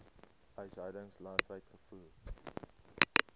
huishoudings landwyd gevoer